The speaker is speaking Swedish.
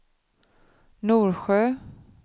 Norsjö